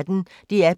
DR P1